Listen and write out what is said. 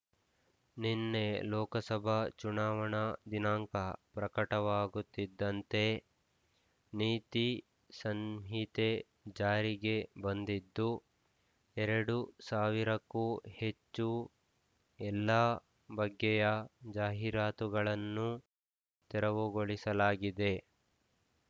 ನಿನ್ನೆ ಲೋಕಸಭಾ ಚುನಾವಣಾ ದಿನಾಂಕ ಪ್ರಕಟವಾಗುತ್ತಿದ್ದಂತೆ ನೀತಿ ಸಂಹಿತೆ ಜಾರಿಗೆ ಬಂದಿದ್ದು ಎರಡು ಸಾವಿರಕ್ಕೂ ಹೆಚ್ಚು ಎಲ್ಲಾ ಬಗ್ಗೆಯ ಜಾಹೀರಾತುಗಳನ್ನು ತೆರವುಗೊಳಿಸಲಾಗಿದೆ